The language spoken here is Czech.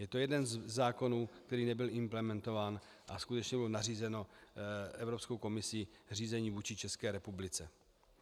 Je to jeden ze zákonů, který nebyl implementován, a skutečně bylo nařízeno Evropskou komisí řízení vůči České republice.